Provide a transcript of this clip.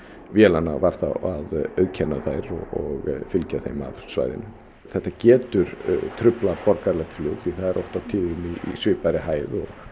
vélanna var að auðkenna þær og fylgja þeim af svæðinu þetta getur truflað borgaralegt flug því það er oft á tíðum í svipaðri hæð